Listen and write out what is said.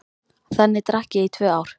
Þannig drakk ég í tvö ár.